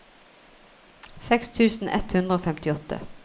seks tusen ett hundre og femtiåtte